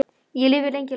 Enn lifir lengi nætur.